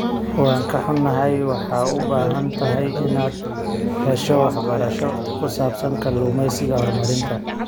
Waan ka xunnahay, waxaad u baahan tahay inaad hesho waxbarasho ku saabsan kalluumeysiga horumarinta.